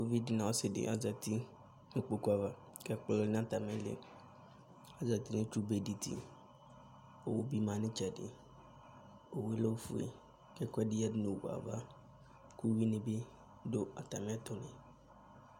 Uvidi nɔ ɔsidi azatinu kpokpuava kɛ ɛkpɔ lɛ na atimili Azatinu itchu béditi, owu bi ma nu itchɛdi Owué lɛ ofué kɛ ɛkuɛdi yanu owué ava, ku uwui ni bi du atamiɛtu ni